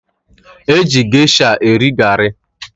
E ji gesha eri garị